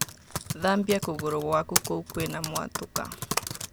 Thambia kũgũrũ gwaku kũu kwina mwatũka.